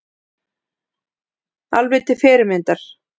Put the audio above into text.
Alveg til fyrirmyndar